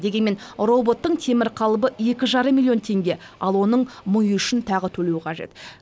дегенмен роботтың темір қалыбы екі жарым миллион теңге ал оның миы үшін тағы төлеу қажет